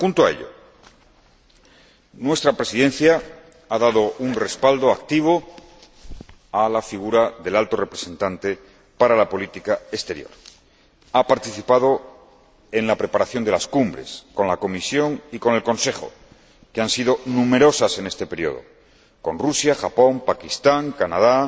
Junto a ello, nuestra Presidencia ha dado un respaldo activo a la figura del Alto Representante para la Política Exterior, que ha participado en la preparación de las cumbres con la Comisión y con el Consejo, numerosas en este período —con Rusia, Japón, Pakistán, Canadá,